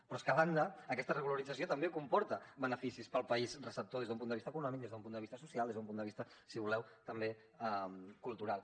però és que a banda aquesta regularització també comporta beneficis per al país receptor des d’un punt de vista econòmic des d’un punt de vista social des d’un punt de vista si voleu també cultural